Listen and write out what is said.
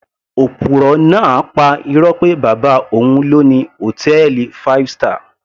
Òpùrọ́ náà pa irọ́ pé bàbá òun ló ni hòtẹ́ẹ̀lì five star